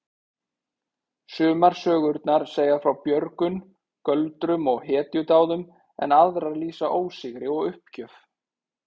Sumar sögurnar segja frá björgun, göldrum og hetjudáðum en aðrar lýsa ósigri og uppgjöf.